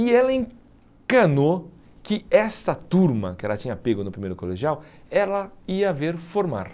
E ela encanou que essa turma que ela tinha pego no primeiro colegial, ela ia ver formar.